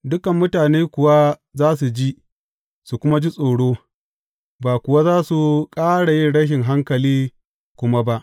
Dukan mutane kuwa za su ji, su kuma ji tsoro, ba kuwa za su ƙara yin rashin hankali kuma ba.